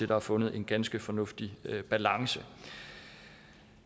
der er fundet en ganske fornuftig balance